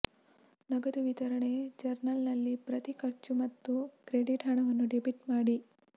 ನಗದು ವಿತರಣೆ ಜರ್ನಲ್ನಲ್ಲಿ ಪ್ರತಿ ಖರ್ಚು ಮತ್ತು ಕ್ರೆಡಿಟ್ ಹಣವನ್ನು ಡೆಬಿಟ್ ಮಾಡಿ